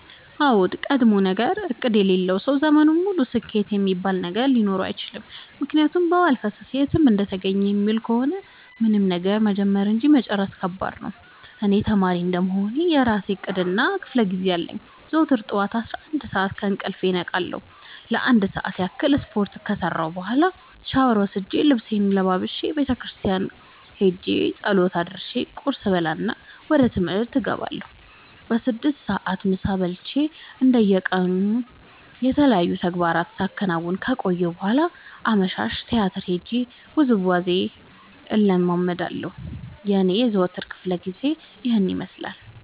አዎድ ቀድሞነገር እቅድ የሌለው ሰው ዘመኑን ሙሉ ስኬት እሚባል ነገር ሊኖረው አይችልም። ምክንያቱም በዋልፈሰስ የትም እንደተገኘ የሚውል ከሆነ ምንም ነገር መጀመር እንጂ መጨረስ ከባድ ነው። እኔ ተማሪ እንደመሆኔ የእራሴ እቅድ እና ክፋለጊዜ አለኝ። ዘወትር ጠዋት አስራአንድ ሰዓት ከእንቅልፌ እነቃለሁ ለአንድ ሰዓት ያክል ስፓርት ከሰራሁኝ በኋላ ሻውር ወስጄ ልብሴን ለባብሼ ቤተክርስቲያን ኸጄ ፀሎት አድርሼ ቁርስ እበላና ወደ ትምህርት እገባለሁ። በስድስት ሰዓት ምሳ በልቼ እንደ የቀኑ የተለያዩ ተግባራትን ሳከናውን ከቆየሁ በኋላ አመሻሽ ቲያትር ሄጄ ውዝዋዜ እለምዳለሁ የኔ የዘወትር ክፍለጊዜ ይኸን ይመስላል።